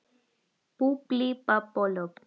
Það er ekkert að marka það sagði hún.